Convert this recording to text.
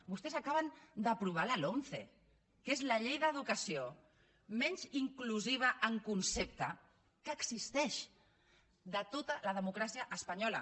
vostès acaben d’aprovar la lomce que és la llei d’educació menys inclusiva en concepte que existeix de tota la democràcia espanyola